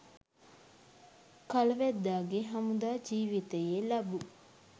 කල වැද්දාගේ හමුදා ජිවිතයේ ලබූ